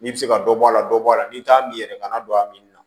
N'i bɛ se ka dɔ bɔ a la dɔ bɔ a la n'i t'a min yɛrɛ kana don a min na